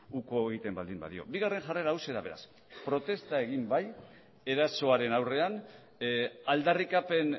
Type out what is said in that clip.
uko egiten baldin badio bigarren jarrera hauxe da beraz protesta egin bai erasoaren aurrean aldarrikapen